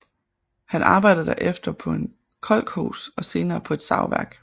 Han arbejdede der efter på en kolkhos og senere på et savværk